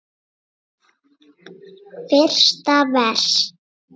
Fyrsta vers.